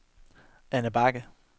Anna Bagge